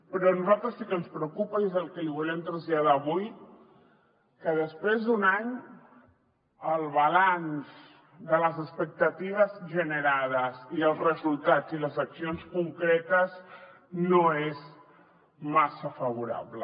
però a nosaltres sí que ens preocupa i és el que li volem traslladar avui que després d’un any el balanç de les expectatives generades i els resultats i les accions concretes no és massa favorable